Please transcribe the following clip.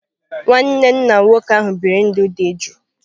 Nwanne nna nwoke ahụ biri ndụ dị jụụ.